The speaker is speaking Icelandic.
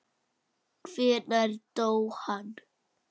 Hvenær dó hann?